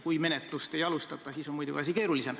Kui menetlust ei alustata, siis on asi muidugi keerulisem.